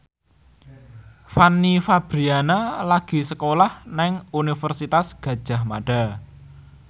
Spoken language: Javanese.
Fanny Fabriana lagi sekolah nang Universitas Gadjah Mada